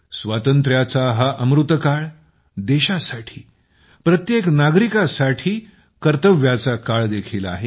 स्वातंत्र्याचा हा अमृतकाळ हा देशासाठी प्रत्येक नागरिकाच्या कर्तव्याचा काळ देखील आहे